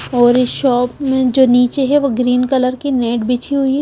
और इस शॉप में जो नीचे है वो ग्रीन कलर की नेट बिछी हुई है।